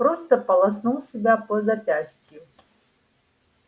просто полоснул себя по запястью